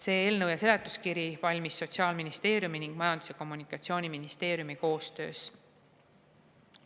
See eelnõu ja seletuskiri valmis Sotsiaalministeeriumi ning Majandus- ja Kommunikatsiooniministeeriumi koostöös.